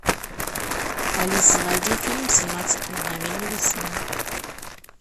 алиса найди фильм семнадцать мгновений весны